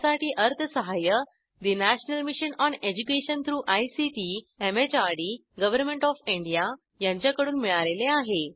यासाठी अर्थसहाय्य national mission on education through ICT MHRD government of India यांच्याकडून मिळालेले आहे